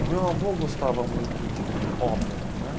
O meu avô gostava muito de ópera né